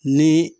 Ni